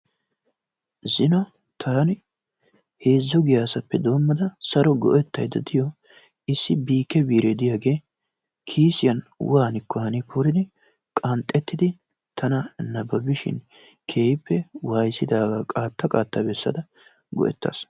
Zino taanu heezzu giyaasappe doommada go'ettayda de'iyo issi biike biire diyaagee kiisiyan waannikko hani poridi qanxxettidi tana nababishin tana keehiippe wayssidaagaa qaatta qaatta besada go'ettaasi.